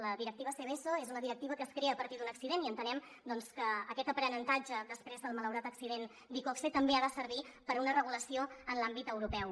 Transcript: la directiva seveso és una directiva que es crea a partir d’un accident i entenem que aquest aprenentatge després del malaurat accident d’iqoxe també ha de servir per a una regulació en l’àmbit europeu